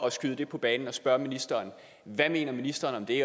at skyde det på banen og spørge ministeren hvad mener ministeren om det